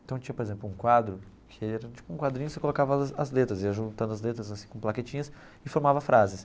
Então tinha, por exemplo, um quadro que era tipo um quadrinho, você colocava as as letras, ia juntando as letras assim com plaquetinhas e formava frases.